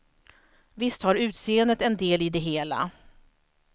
Visst har utseendet en del i det hela.